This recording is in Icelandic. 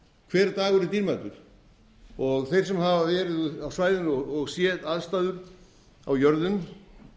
hver dagur er dýrmætur þeir sem hafa verið á svæðinu og séð aðstæður á jörðum